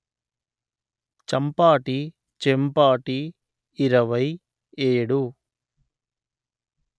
చంపాటి చెంపాటి; ఇరవై ఏడు